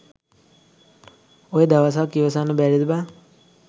ඔය දවසක් ඉවසන්න බැරිද බන්?